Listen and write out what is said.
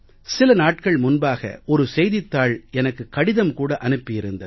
சில நாட்கள் முன்பாக ஒரு செய்தித் தாள் எனக்கு கடிதம் கூட அனுப்பி இருந்தது